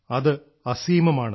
അത് സീമാതീതമാണ്